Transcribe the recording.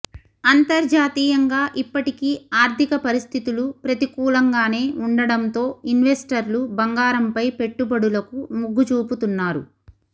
అంతర్జాతీయంగా ఇప్పటికీ ఆర్థిక పరిస్థితులు ప్రతికూలంగానే ఉండడంతో ఇన్వెస్టర్లు బంగారంపై పెట్టుబడులకు మొగ్గుచూపుతున్నారు